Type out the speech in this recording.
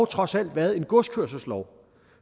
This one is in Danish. trods alt har været en godskørselslov